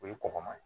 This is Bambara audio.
O ye kɔgɔma ye